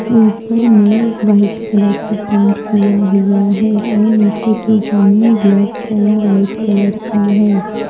ऊपर में white colour का पेंट किया हुआ है और नीचे की जमीन ब्लैक एंड व्हाइट कलर की है।